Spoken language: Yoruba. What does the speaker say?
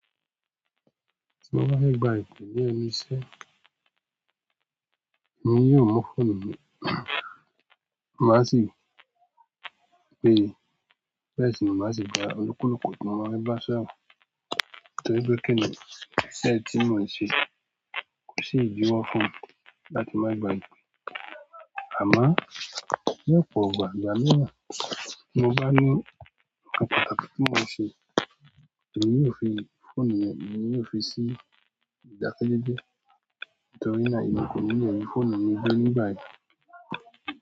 Tí mo bá fẹ́ gba ipe ní ẹnu iṣẹ́, èmi yóò mu fóònù mi, má sì gbé, bẹ́ẹ̀ sì ni má sì ba olúkúlùkù tí mo bá fẹ́ bá sọ̀rọ̀, torí pé kìíní iṣẹ́ ti mọ n ṣe kò sì idíwọ́ fún láti má gba ipe. À mo, ní ọ̀pọ̀ ìgbà, ìgbà mí wa, tí mo bá ní nkan pàtàkì ti mọ n se, èmi yóò fi fóònù yẹn e mi yóò fi sí ìdákẹ́jẹ́jẹ́ torí náà e mi ko ni lè rí fóònù mi gbe nígbà yen.